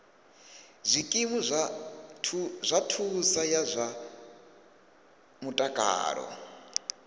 zwikimu zwa thuso ya zwa mutakalo